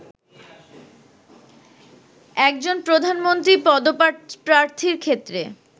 একজন প্রধানমন্ত্রী পদপ্রার্থীর ক্ষেত্রে